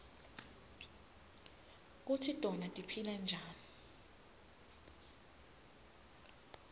kutsi tona tiphila njani